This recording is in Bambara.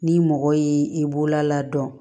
Ni mɔgɔ y'i bolola ladɔn